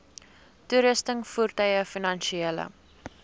toerusting voertuie finansiële